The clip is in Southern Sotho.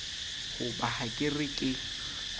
hoba ha ke re ke